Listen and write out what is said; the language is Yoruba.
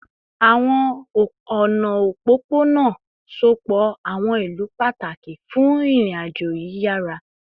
Awọn ọna opopona sopọ awọn ilu pataki fun irin-ajo yiyara